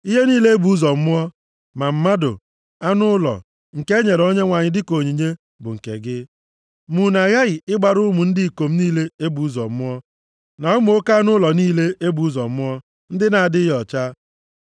Ihe niile e bụ ụzọ mụọ, ma mmadụ ma anụ ụlọ, nke e nyere Onyenwe anyị dịka onyinye, bụ nke gị. Ma unu aghaghị ịgbara ụmụ ndị ikom niile e bụ ụzọ mụọ, na ụmụ oke anụ ụlọ niile e bụ ụzọ mụọ ndị na-adịghị ọcha.